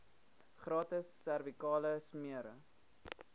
gratis servikale smere